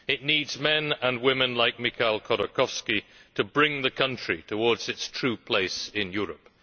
It needs men and women like Mikhail Khodorkovsky to bring the country towards its true place in Europe.